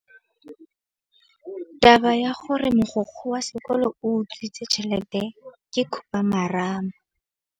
Taba ya gore mogokgo wa sekolo o utswitse tšhelete ke khupamarama.